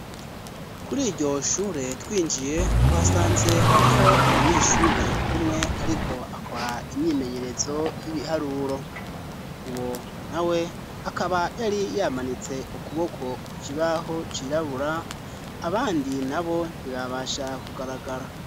Kuri iryo shure twinjiye twasanze hariho umunyeshure umwe ariko akora imyimenyerezo y'ibiharuro uwo na we akaba yari yamanitse ukuboko ku kibaho cirabura abandi na bo ntibabasha kugaragara.